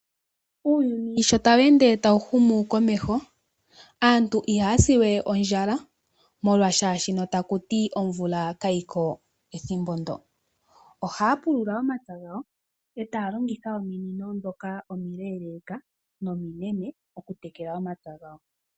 Uuyuni sho tawu ende ta wu humu komeho, aantu iha ya siwe ondjala molwa omvula kaayiko, oha ya pulula omapya gawo, eta ya longitha ominino ndhoka omileeleeka nominene oku tekela omapya gawo.